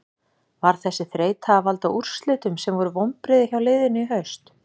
Var þessi þreyta að valda úrslitum sem voru vonbrigði hjá liðinu í haust?